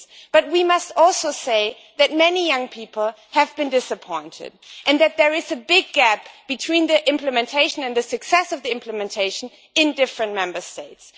But we must also say that many young people have been disappointed, and that there is a big gap in implementation and the success of implementation in different Member States.